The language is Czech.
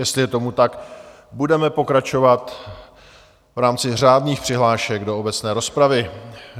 Jestli je tomu tak, budeme pokračovat v rámci řádných přihlášek do obecné rozpravy.